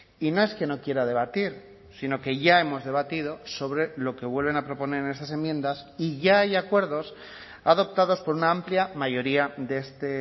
y no es que no quiera debatir sino que ya hemos debatido sobre lo que vuelven a proponer en esas enmiendas y ya hay acuerdos adoptados por una amplia mayoría de este